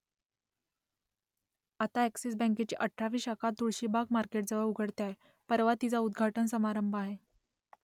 आता अ‍ॅक्सिस बँकेची अठरावी शाखा तुळशीबाग मार्केटजवळ उघडते आहे , परवा तिचा उद्घाटन समारंभ आहे